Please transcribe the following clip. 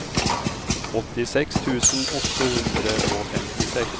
åttiseks tusen åtte hundre og femtiseks